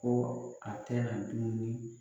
Ko a tɛna dumuni.